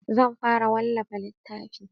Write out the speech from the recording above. Zan fara wallafa littafi